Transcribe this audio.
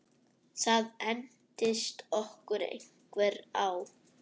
Það entist okkur einhver ár.